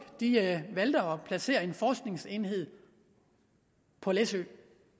valgte at placere en forskningsenhed på læsø